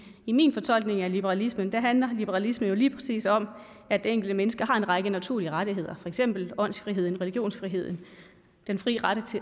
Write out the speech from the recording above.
i min fortolkning af liberalismen handler liberalisme jo lige præcis om at det enkelte menneske har en række naturlige rettigheder for eksempel åndsfriheden religionsfriheden den frie ret